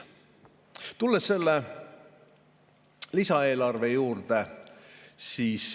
Tulen selle lisaeelarve juurde.